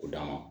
O d'a ma